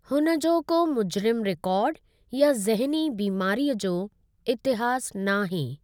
हुनजो को मुजरिमु रिकॉर्ड या ज़हनी बीमारीअ जो इतिहासु नाहे।